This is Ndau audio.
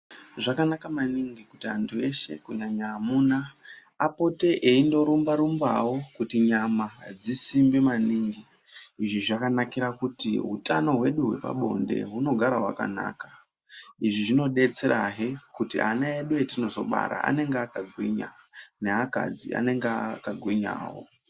Zvakanaka maningi kunyanya amuna kuti apote eindorumba rumbawo kuti nyama dzisimbe maningi. Izvi zvakanakira kuti utano hwedu hwepabonde hugare hwakanaka. Izvi zvinodetserahe kuti ana edu etinozobara anenge akagwinya neakadzi anenge akagwinyawo.